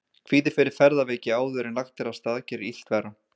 Kvíði fyrir ferðaveiki áður en lagt er af stað gerir illt verra.